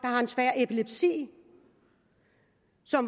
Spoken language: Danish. har en svær epilepsi